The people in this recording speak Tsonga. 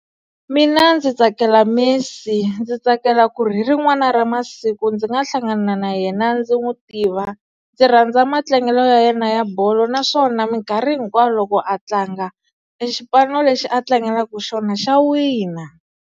Mina ndzi tsakela Messi ndzi tsakela ku ri hi rin'wana ra masiku ndzi nga hlangana na yena ndzi n'wi tiva ndzi rhandza matlangelo ya yena ya bolo naswona minkarhi hinkwayo loko a tlanga i xipano lexi a tlangelaka xona xa wina.